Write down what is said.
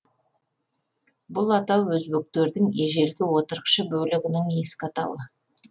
бұл атау өзбектердің ежелгі отырықшы бөлігінің ескі атауы